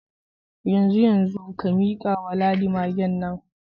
Yanzu yanzu, ka mika wa Ladi magen nan.